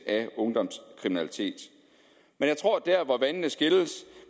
af ungdomskriminalitet men jeg tror at der hvor vandene skilles